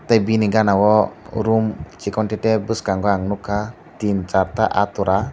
tei bini gana o room chikon te te bwskango ang nukha tin char ta ahtora.